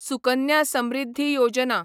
Sukanya Samriddhi Yojana